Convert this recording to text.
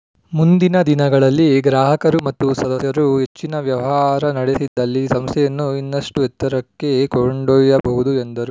ಮುಂದಿನ ದಿನಗಳಲ್ಲಿ ಗ್ರಾಹಕರು ಮತ್ತು ಸದಸ್ಯರು ಹೆಚ್ಚಿನ ವ್ಯವಹಾರ ನಡೆಸಿದಲ್ಲಿ ಸಂಸ್ಥೆಯನ್ನು ಇನ್ನಷ್ಟುಎತ್ತರಕ್ಕೆ ಕೊಂಡೊಯ್ಯಬಹುದು ಎಂದರು